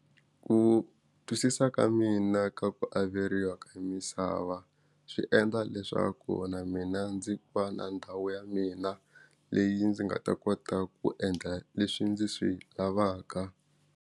Ku twisisa ka mina ka ku averiwa ka misava swi endla leswaku na mina ndzi va na ndhawu ya mina leyi ndzi nga ta kota ku endla leswi ndzi swi lavaka.